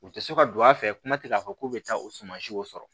U tɛ se ka don a fɛ kuma tɛ k'a fɔ k'u bɛ taa o suma siw sɔrɔ